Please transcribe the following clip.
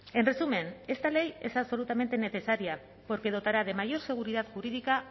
en resumen esta ley es absolutamente necesaria porque dotará de mayor seguridad jurídica